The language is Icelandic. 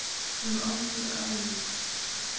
Hefur aldrei á ævinni séð annað eins undur.